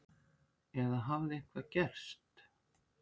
Eða hafði eitthvað gerst?